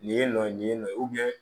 Nin ye nɔ nin ye nɔ